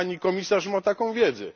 Czy Pani Komisarz ma taką wiedzę?